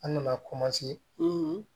An nana